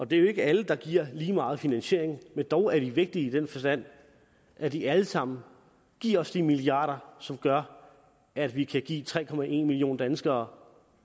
det er jo ikke alle der giver lige meget finansiering men dog er de vigtige i den forstand at de alle sammen giver os de milliarder som gør at vi kan give tre tre millioner danskere